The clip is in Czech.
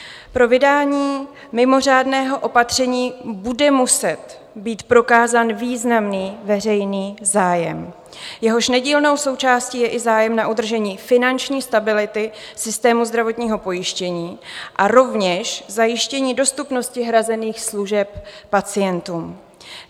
Pro vydání mimořádného opatření bude muset být prokázán významný veřejný zájem, jehož nedílnou součástí je i zájem na udržení finanční stability systému zdravotního pojištění a rovněž zajištění dostupnosti hrazených služeb pacientům.